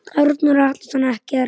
Arnór Atlason ekkert.